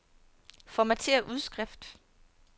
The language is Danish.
Formatér udskrift.